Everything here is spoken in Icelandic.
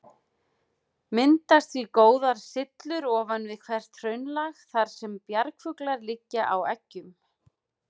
Myndast því góðar syllur ofan við hvert hraunlag, þar sem bjargfuglar liggja á eggjum.